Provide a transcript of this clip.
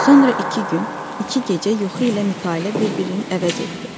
Sonra iki gün, iki gecə yuxu ilə mütailə bir-birini əvəz etdi.